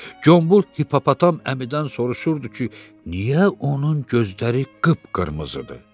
Gömbul hippopotam əmidən soruşurdu ki, niyə onun gözləri qıpqırmızıdır.